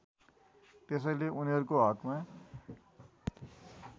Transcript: त्यसैले उनीहरुको हकमा